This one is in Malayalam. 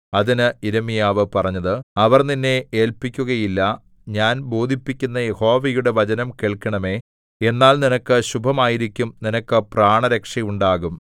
അതിന് യിരെമ്യാവ് പറഞ്ഞത് അവർ നിന്നെ ഏല്പിക്കുകയില്ല ഞാൻ ബോധിപ്പിക്കുന്ന യഹോവയുടെ വചനം കേൾക്കണമേ എന്നാൽ നിനക്ക് ശുഭമായിരിക്കും നിനക്ക് പ്രാണരക്ഷയുണ്ടാകും